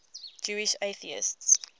jewish atheists